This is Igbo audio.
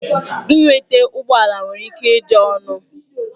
Ịnweta ụgbọ ala nwere ike ịdị ọnụ.